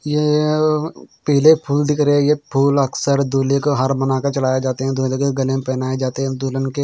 यह पीले फूल दिख रहे हैं ये फूल अक्सर दूल्हे को हार बनाकर चढ़ाए जाते हैं दुल्हन के गले में पहनाए जाते हैं दुल्हन के--